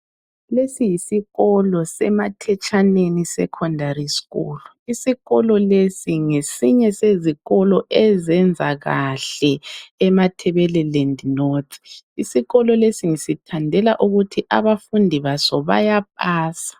Lesi yisikolo seMathetshaneni secondary school. Isikolo lesi ngesinye sezikolo, ezenza kahle eMatabeleland north. Isikolo lesi ngisithandela ukuthi, abafundi baso, bayapasa.